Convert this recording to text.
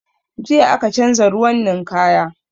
Jiya aka canza ruwan ninkaya